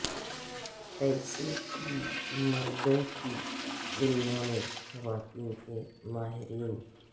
پیسے کی مردوں کی دنیا میں خواتین کے ماہرین